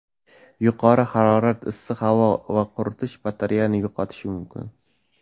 Yuqori harorat, issiq havo va quritish bakteriyani yo‘qotishi mumkin.